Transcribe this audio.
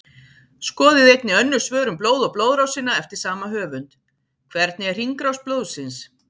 Skoðið einnig önnur svör um blóð og blóðrásina eftir sama höfund: Hvernig er hringrás blóðsins?